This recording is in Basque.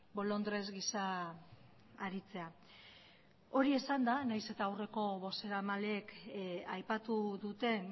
bolondres gisa aritzea hori esanda nahiz eta aurreko bozeramaleek aipatu duten